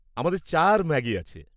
আমাদের চা আর ম্যাগি আছে।